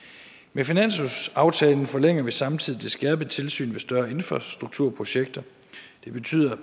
med finanslovsaftalen forlænger vi samtidig det skærpede tilsyn med større infrastrukturprojekter det betyder